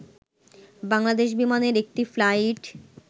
বাংলাদেশ বিমানের একটি ফ্লাইট